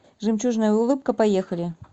жемчужная улыбка поехали